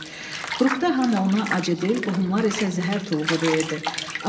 Qrupda hamı ona acıdil, qohumlar isə zəhər tuluğu deyirdi.